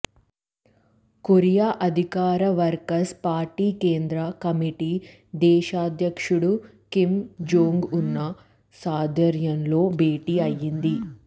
Korea అధికార workers party కేంద్ర కమిటీ దేశాధ్యక్షుడు కిమ్ జోంగ్ ఉన్ సారధ్యంలో భేటీ అయింది